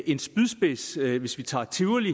en spydspids hvis vi tager tivoli